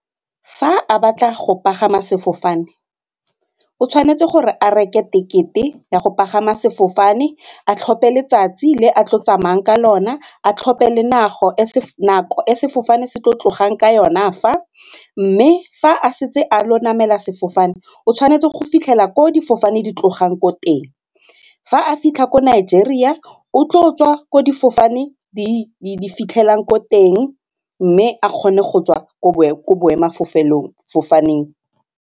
Fa a batla go pagama sefofane o tshwanetse gore a reke tekete ya go pagama sefofane, a tlhophe letsatsi le a tlo tsamayang ka lona, a tlhophe le nako e sefofane se tlo tlogang ka yona fa mme fa a setse a lo namela sefofane o tshwanetse go fitlhela ko difofane di tlogang ko teng. Fa a fitlha ko Nigeria o tlo tswa ko difofane di fitlhelang ko teng mme a kgone go tswa ko boemelafofaneng.